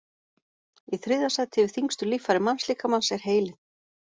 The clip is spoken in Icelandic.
Í þriðja sæti yfir þyngstu líffæri mannslíkamans er heilinn.